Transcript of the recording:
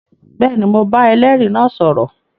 Bẹẹni, Mó bà ẹlẹri náà sọrọ